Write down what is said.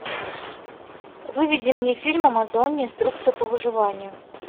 выведи мне фильм амазония инструкция по выживанию